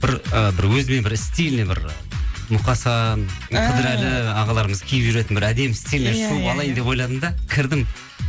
бір ы бір өзіме бір стильный бір мұқасан қыдырәлі ағаларымыз киіп жүретін бір әдемі стильный шуба алайын деп ойладым да кірдім